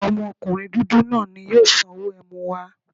Ọmọkunrin dudu naa ni yoo sanwo ẹmu wa